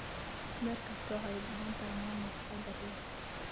Beer kastaa waxay u baahan tahay maamul taxadar leh.